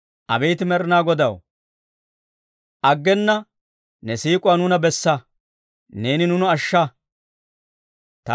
Abeet Med'inaa Godaw, aggena ne siik'uwaa nuuna bessa; neeni nuuna ashsha.